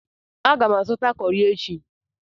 Aga m azụta kọrị echi.